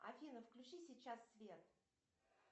афина включи сейчас свет